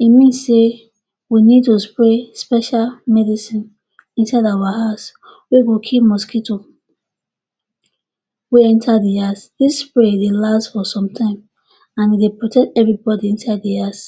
E mean say we need to spray special medicine inside our house na wey go kill mosquito wey enta di house. Dis spray dey last for some time and e dey protect everybody inside di house.